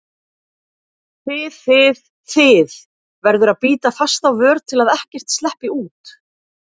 þið þið, þið- verður að bíta fast á vör til að ekkert sleppi út.